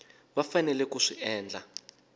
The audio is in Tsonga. va faneleke ku swi endla